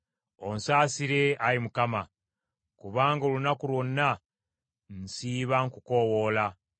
Onsaasire, Ayi Mukama, kubanga olunaku lwonna nsiiba nkukoowoola.